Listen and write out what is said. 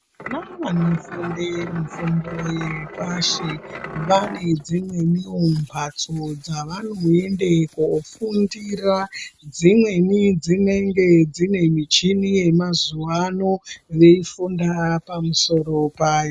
Navanofunde mifundo yepashi vane dzimweniwo mhatso dzavanoende koofundira. Dzimweni dzinenge dzine michini yemazuwa ano veifunda pamusoro payo.